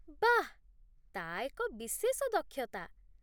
ବାଃ, ତା' ଏକ ବିଶେଷ ଦକ୍ଷତା